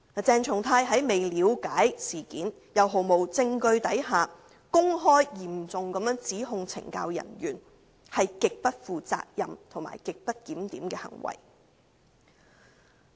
鄭松泰議員在未了解事件及毫無證據的情況下公開嚴重指控懲教人員，是極不負責任和極不檢點的行為。